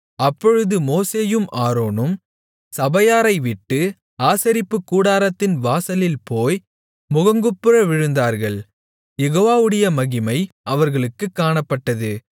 அப்பொழுது மோசேயும் ஆரோனும் சபையாரைவிட்டு ஆசரிப்புக்கூடாரத்தின் வாசலில் போய் முகங்குப்புற விழுந்தார்கள் யெகோவாவுடைய மகிமை அவர்களுக்குக் காணப்பட்டது